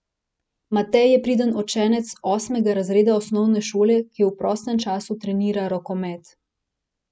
Matej je priden učenec osmega razreda osnovne šole, ki v prostem času trenira rokomet.